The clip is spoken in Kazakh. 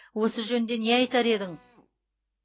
осы жөнінде не айтар едің